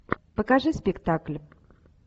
покажи спектакль